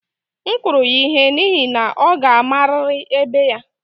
M kụrụ ya ihe n'ihi na ọ ga-amarịrị ebe ya